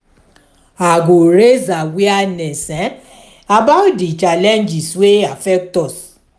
i go raise awareness about di challenges wey affect us.